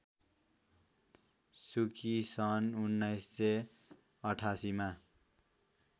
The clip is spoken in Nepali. सुकी सन् १९८८मा